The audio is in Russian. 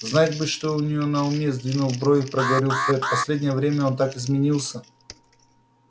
знать бы что у него на уме сдвинув брови проговорил фред последнее время он так изменился